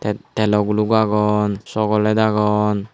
telo guluk agon sogoled agon.